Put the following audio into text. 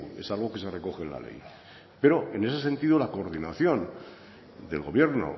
es algo que se recoge en la ley pero en ese sentido la coordinación del gobierno